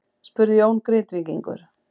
spurði Jón Grindvíkingur.